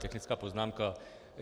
Technická poznámka.